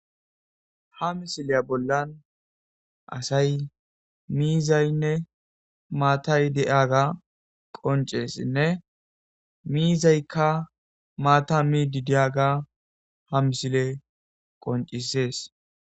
Ha missileza bolla bettiza asaynne mizaynne mattay qonccises mizayikka maatta mishshe dizayissa ha missilez qoncciside besses